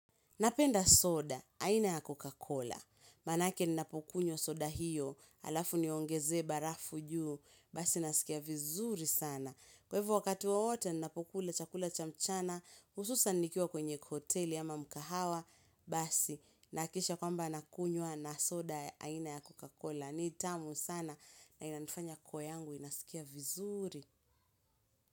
Napenda soda, aina ya Coca-Cola. Maanake ninapokunywa soda hiyo, alafu niongeze barafu juu, basi nasikia vizuri sana. Kwa hivyo wakati wowote ninapokula chakula chamchana, hususan nikiwa kwenye kuhoteli ama mukahawa, basi nahakisha kwamba nakunywa na soda aina ya Coca-Cola. Ni tamu sana na inanifanya koo yangu, inasikia vizuri.